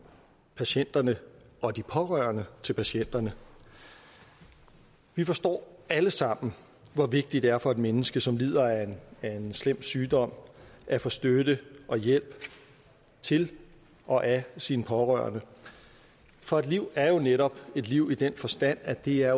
patienterne og de pårørende til patienterne vi forstår alle sammen hvor vigtigt det er for et menneske som lider af af en slem sygdom at få støtte og hjælp til og af sine pårørende for et liv er jo netop et liv i den forstand at det er